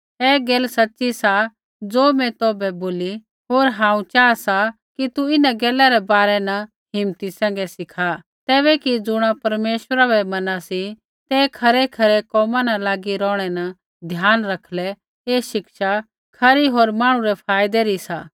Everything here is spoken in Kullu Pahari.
ऐ गैल सच़ी सा ज़ो मैं तौभै बोलू होर हांऊँ चाहा सा कि तु इन्हां गैला रै बारै न हिम्मती सैंघै सिखा तैबै कि ज़ुणा परमेश्वरा बै मना सी ते खरैखरै कोमा न लागी रौहणै न ध्यान रखलै ऐ शिक्षा खरी हौर मांहणु रै फाईदे री सी